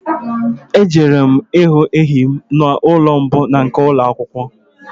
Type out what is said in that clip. Ejere m ịhụ enyi m n'ụlọ mbụ nke ụlọ akwụkwọ